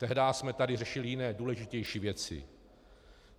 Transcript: Tehdy jsme tady řešili jiné důležitější věci.